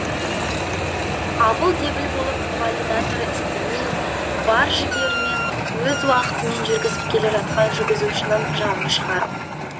абыл дебіл болып валидаторы істемей бар жігерімен өз уақытымен жүргізіп келе жатқан жүргізушінің жанын шығарып